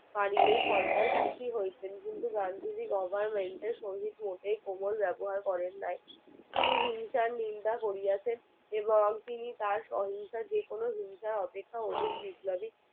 পারিলেই সরকার খুশি হইতেন কিন্তু গান্ধী জি government এর সহিত কোমল ব্যবহার করেন নাই তিনি হিংসা নিন্দা করিয়াছেন এবং তিনি তার সহিংসার যেকোনো হিংসার অপেক্ষা অভি বিপ্লবী